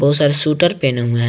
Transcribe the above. Sir sweater पहने हुए हैं।